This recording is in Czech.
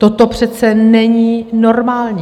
Toto přece není normální.